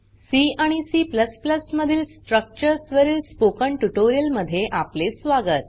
C आणि C मधील structures वरील स्पोकन ट्यूटोरियल मध्ये आपले स्वागत